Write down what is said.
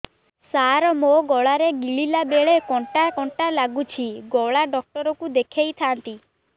ସାର ମୋ ଗଳା ରେ ଗିଳିଲା ବେଲେ କଣ୍ଟା କଣ୍ଟା ଲାଗୁଛି ଗଳା ଡକ୍ଟର କୁ ଦେଖାଇ ଥାନ୍ତି